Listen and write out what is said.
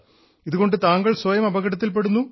ഇതുകൊണ്ട് താങ്കൾ സ്വയം അപകടത്തിൽപ്പെടുന്നു